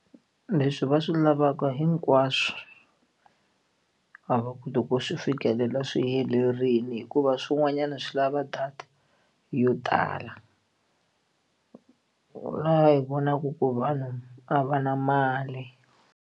Leswi va swi lavaka hinkwaswo a va koti ku swi fikelela swi helerile hikuva swin'wanyana swi lava data yo tala laha hi vonaka ku vanhu a va na mali.